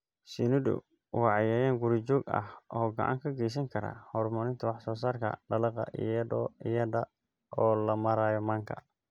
Shinnidu waa cayayaan guri-joog ah oo gacan ka geysan kara horumarinta wax-soo-saarka dalagga iyada oo loo marayo manka.